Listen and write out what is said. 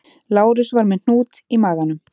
Lárus var með hnút í maganum